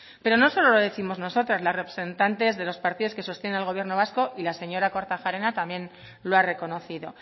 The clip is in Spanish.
pero no solo lo décimos nosotras las representantes de los partidos que sostiene al gobierno vasco y la señora kortajarena también lo ha reconocido